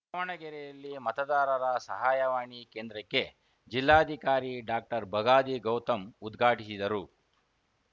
ದಾವಣಗೆರೆಯಲ್ಲಿ ಮತದಾರರ ಸಹಾಯವಾಣಿ ಕೇಂದ್ರಕ್ಕೆ ಜಿಲ್ಲಾಧಿಕಾರಿ ಡಾಕ್ಟರ್ಬಗಾದಿ ಗೌತಮ್‌ ಉದ್ಘಾಟಿಸಿದರು